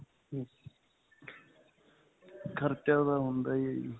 ਖਰਚਾ ਤਾਂ ਹੁੰਦਾ ਹੀ ਹੈ ਜੀ.